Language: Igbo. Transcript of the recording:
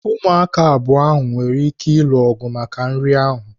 Ụmụaka abụọ nwere ike ịlụ ọgụ maka nri ahụ.